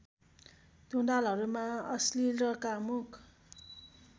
टुँडालहरूमा अश्लील र कामुक